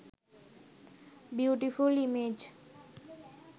beautiful image